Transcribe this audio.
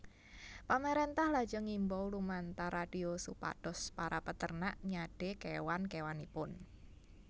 Pamarèntah lajeng ngimbau lumantar radio supados para peternak nyadé kéwan kéwanipun